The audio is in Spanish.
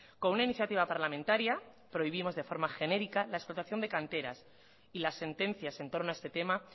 con una iniciativa parlamentaria prohibimos de forma genérica la explotación de canteras y las sentencias en torno a este tema